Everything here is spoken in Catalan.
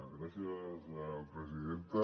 gràcies presidenta